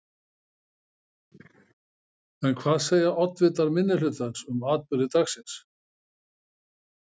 En hvað segja oddvitar minnihlutans um atburði dagsins?